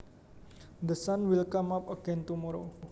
The sun will come up again tomorrow